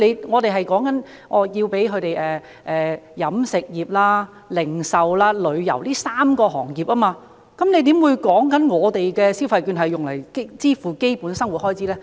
我們說的是飲食業、零售和旅遊這3個行業，局長怎會說是以我們提議的消費券用作支付基本生活開支呢？